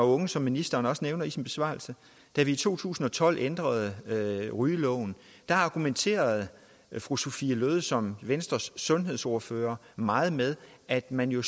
unge som ministeren også nævner i sin besvarelse da vi i to tusind og tolv ændrede rygeloven argumenterede fru sophie løhde som venstres sundhedsordfører meget med at man jo